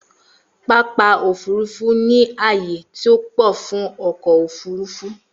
Pápá ofurufu ni aaye to pọ fun ọkọ ofurufu.